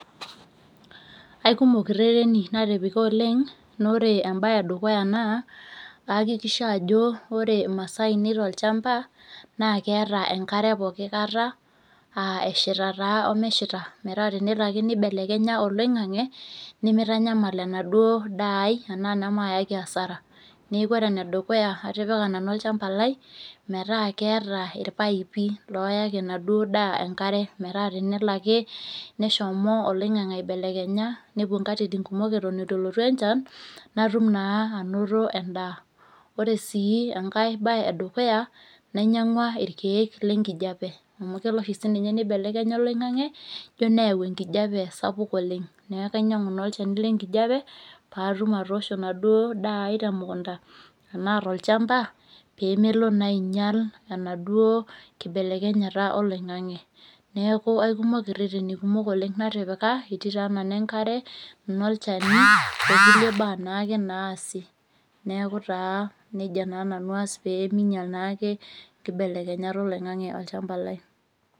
Aikumok irhereni natupika oleng naa ore embae edukuya naa ayakikisha ajo ore imasaa ainei tolshamba naa keeta enkare poki kata aa eshita taa omeshita metaa tenelo ake nibelekenya oling'ang'e nimitanyamal enaduo daa ai anaa nemaayaki asara niaku ore enedukuya naa atipika nanu olshamba lai metaa keeta ilpaipi metaa keyaki enaduo daa enkare metaa tenelo ake nishomo oloing'ang'ang'e aibelekenya nepuo nkatitin kumok eton eitu elotu enchan natum naa anoto en'daa Ore sii enkae baye edukuya nainyang'ua ilkiek lenkijape amu kelo oshininye nibelekenya olong'ang'e ijo neyau enkijape sapuk oleng' niaku ainyang'u naa olchani lenkijape paatum atoosho enaduo daa ai temukunta peemelo naa ainyal enaduo kibelekenyata oloing'ang'ang'e neeeku aikimok irherheni kumok natipika etii taa nena enkare , inolchani okulie baa naake naasi neeku taa nija naa nanu aas peemiinyal naa inkibelekenyat oloing'ang'ang'e olchamba lai